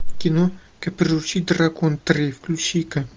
кино как приручить дракона три включи ка